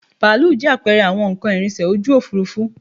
Bàálù jẹ́ àpẹẹrẹ àwọn nnkan ìrìnsẹ̀ ojú òfuurufú